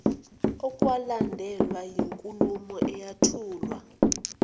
okwalandelwa yinkulumo eyathulwa